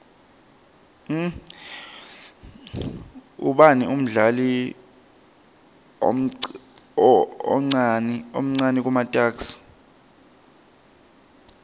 ubani umdlali omcani kumatuks